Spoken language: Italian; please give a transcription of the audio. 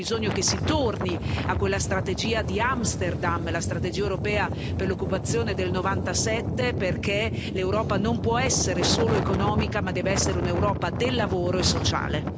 Abbiamo bisogno che si torni a quella strategia di Amsterdam, la strategia europea per l'occupazione del 1997, perché l'Europa non può essere solo economica, ma deve essere un'Europa del lavoro e sociale.